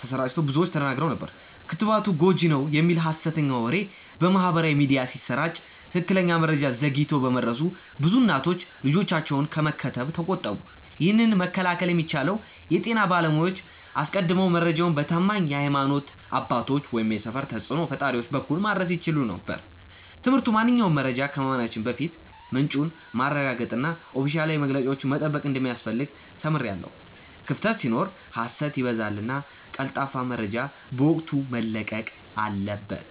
ተሰራጭቶ ብዙዎች ተደናግረው ነበር። ክትባቱ ጎጂ ነው" የሚል ሀሰተኛ ወሬ በማህበራዊ ሚዲያ ሲሰራጭ ትክክለኛ መረጃ ዘግይቶ በመድረሱ ብዙ እናቶች ልጆቻቸውን ከመከተብ ተቆጠቡ። ይህንን መከላከል የሚቻለው የጤና ባለሙያዎች አስቀድመው መረጃውን በታማኝ የሀይማኖት አባቶች ወይም የሰፈር ተጽእኖ ፈጣሪዎች በኩል ማድረስ ሲችሉ ነበር። ትምህርቱ ማንኛውንም መረጃ ከማመናችን በፊት ምንጩን ማረጋገጥና ኦፊሴላዊ መግለጫዎችን መጠበቅ እንደሚያስፈልግ ተምሬያለሁ። ክፍተት ሲኖር ሀሰት ይበዛልና ቀልጣፋ መረጃ በወቅቱ መለቀቅ አለበት።